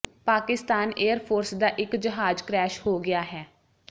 Pakistan air force ਦਾ ਇੱਕ ਜਹਾਜ਼ ਕਰੈਸ਼ ਹੋ ਗਿਆ ਹੈ